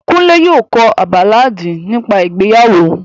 Kunle yóò ko a baláàdi nipa ìgbeyawo.